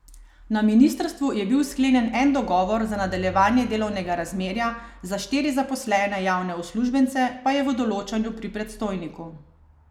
Na ministrstvu je bil sklenjen en dogovor za nadaljevanje delovnega razmerja, za štiri zaposlene javne uslužbence pa je v odločanju pri predstojniku.